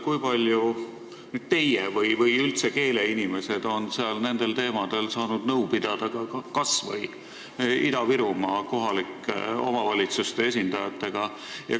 Kui palju teie või üldse keeleinimesed on saanud nendel teemadel nõu pidada, kas või Ida-Virumaa kohalike omavalitsuste esindajatega?